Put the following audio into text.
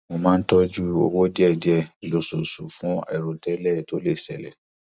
mo máa ń tọjú owó díẹ lóṣooṣù fún àìròtẹlẹ tó lè ṣẹlè